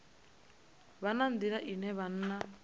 vha na nḓila ine vhana